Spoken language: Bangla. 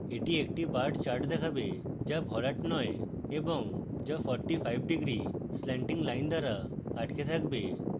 এটি একটি bar chart দেখাবে যা ভরাট নয় এবং যা 45 ° স্ল্যান্টিং লাইন দ্বারা আটকে থাকবে